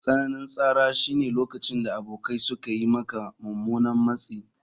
Tsananin tsara shine lokacin da abokai suka yi maka mummunan matsi.